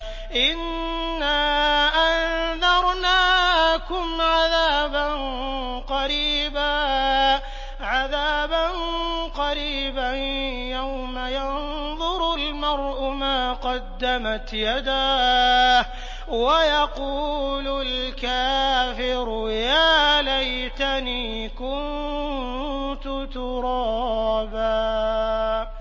إِنَّا أَنذَرْنَاكُمْ عَذَابًا قَرِيبًا يَوْمَ يَنظُرُ الْمَرْءُ مَا قَدَّمَتْ يَدَاهُ وَيَقُولُ الْكَافِرُ يَا لَيْتَنِي كُنتُ تُرَابًا